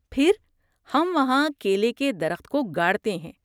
پھر، ہم وہاں کیلے کے درخت کو گاڑتے ہیں۔